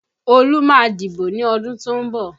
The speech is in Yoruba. Olú má a dìbò ní ọdún tó ń bọ̀